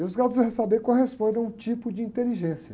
E os graus do, saber correspondem a um tipo de inteligência.